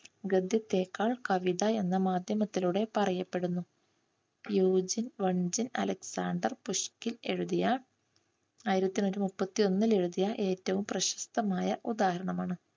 ഗദ്യത്തെക്കാൾ കവിത എന്ന മാധ്യമത്തിലൂടെ പറയപ്പെടുന്നു യൂജിൻ വഞ്ചിൻ അലക്സാണ്ടർ പുഷ്കിൽ എഴുതിയ ആയിരത്തിതൊള്ളായിരത്തിമുപ്പത്തിയൊന്നിൽ എഴുതിയ ഏറ്റവും പ്രശസ്തമായ ഉദാഹരണമാണ്